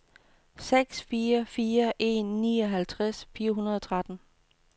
seks fire fire en nioghalvtreds fire hundrede og tretten